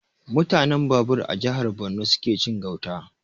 Mutanen Babur a jihar Borno suke cin gauta